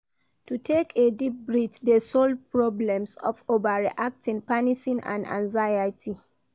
To take a deep breath de solve problems of overreacting panicing and anxiety